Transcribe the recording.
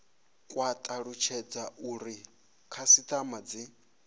kwa talutshedza uri khasitama dzi